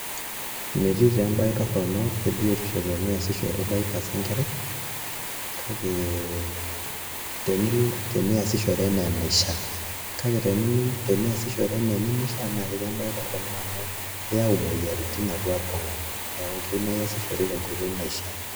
Metii taa embaye torrono ebiotisho teniasishore diapers enkerai kake teniasishore enaa enaishia, kake teniasishore enaa enemishiaa naa ketii embaye torrono amu keyau imoyiaritin atua iltung'anak neeku keyieu naa iasishore tenkoitoi naishiaa.